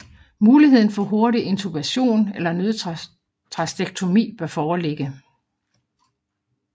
Muligheden for hurtig intubation eller nødtracheotomi bør foreligge